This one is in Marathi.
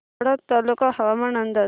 वाडा तालुका हवामान अंदाज